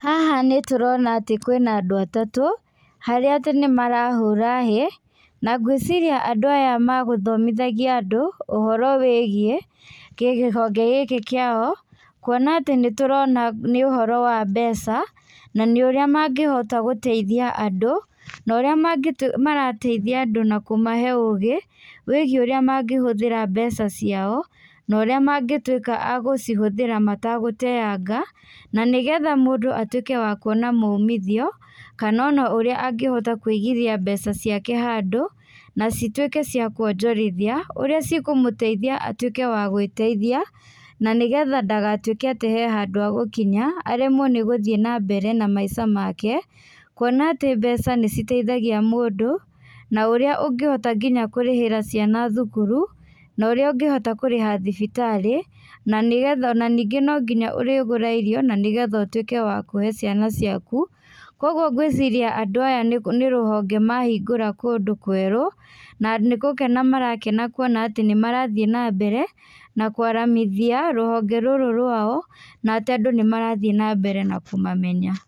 Haha nĩ tũrona atĩ kwĩna andũ atatũ, harĩa atĩ nĩmara hũra hĩĩ, na ngwĩciria andũ aya magũthomithagia andũ ũhoro wĩgie kĩhonge gĩkĩ kĩao, kuona atĩ nĩ tũrona ũhoro wa mbeca, na nĩ ũrĩa mangĩhota gũteithia andũ na ũrĩa marateithia andũ na kũmahe ũgĩ wĩgie ũrĩa mangĩhũthĩra mbeca ciao, na ũrĩa mangĩtuika wa gũcihũthĩra matagũteaga, na nĩgetha mũndũ atuĩke wa kuona maũmithio kana ona ũrĩa angĩhota kũigithia mbeca ciake handũ, na cituĩke cia kũonjorithia ũrĩa cikũmũteitha, atũĩke wa gwĩteithia na nĩgetha ndagatwĩke atĩ he handũ agũkinya aremwo nĩgũthie na mbere na maica make, kuona atĩ mbeca nĩ citeithagia mũndũ, na ũrĩa ũngĩhota nginya kũrĩhĩra ciana thũkũrũ na ũrĩa ũngĩhota kũrĩha thibitarĩ na nĩgetha ona no nginya ũrĩgũra irio nanĩgetha ũtwĩke wa kũhe ciana ciakũ. Kwogwo ngwĩciria andũ aya nĩ rũhonge mahingũra kũndũ kwerũ, na nĩgũkena marakena kuona atĩ nĩ marathie na mbere, na kwaramithia rũhonge rũrũ rwao, na atĩ andũ nĩ marathie na mbere na kũmamenya.